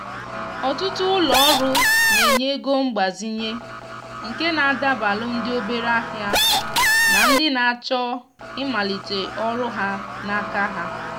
ọtụtụ ulo ọrụ na-enye ego mgbazinye nke na adabalu ndị obere ahịa na ndị na-achọ ịmalite ọrụ ha n’aka ha.